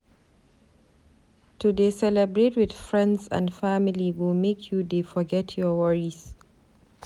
To dey celebrate wit friends and family go make you dey forget your worries.